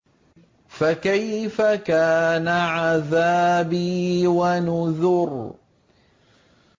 فَكَيْفَ كَانَ عَذَابِي وَنُذُرِ